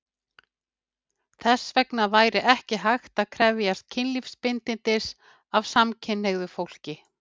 Þess vegna sé ekki hægt að krefjast kynlífsbindindis af samkynhneigðu fólki.